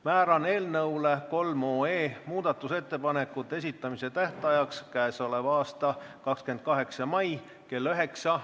Määran muudatusettepanekute esitamise tähtajaks k.a 28. mai kell 9.